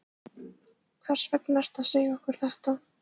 Hvers vegna ertu að segja okkur þetta?